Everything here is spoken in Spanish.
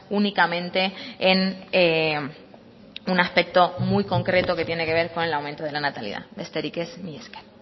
únicamente en un aspecto muy concreto que tiene que ver con el aumento de la natalidad besterik ez mila esker